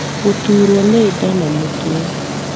Gũturwo nĩ nda na mũtwe